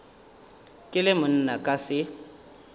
ke le monna ka se